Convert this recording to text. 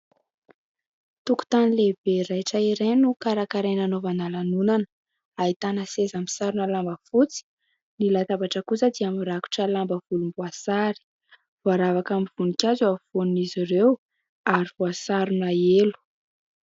Tokontany lehibe raitra iray no karakaraina hanaovana lanonana : ahitana seza misarona lamba fotsy, ny latabatra kosa dia mirakitra lamba volomboasary, voaravaka amin'ny voninkazo eo ampovoan'izy ireo ary voasarona elo.